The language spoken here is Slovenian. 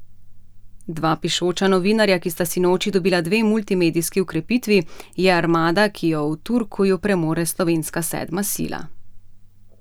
Dva pišoča novinarja, ki sta sinoči dobila dve multimedijski okrepitvi, je armada, ki jo v Turkuju premore slovenska sedma sila.